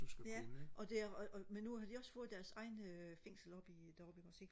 ja og det er og og men nu har de også fået deres egne fængsel oppe i deroppe ikke også ikke